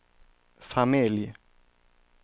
familj